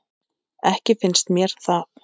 Ekki finnst mér það.